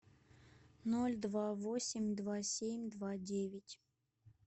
ноль два восемь два семь два девять